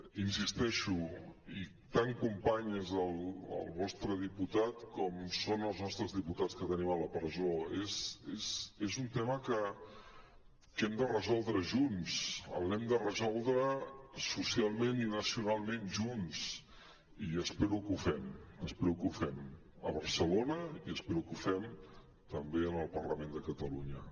hi insisteixo i tant company és el vostre diputat com són els nostres diputats que tenim a la presó és un tema que hem de resoldre junts l’hem de resoldre socialment i nacionalment junts i espero que ho fem espero que ho fem a barcelona i espero que ho fem també al parlament de catalunya